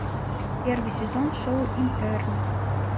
первый сезон шоу интерны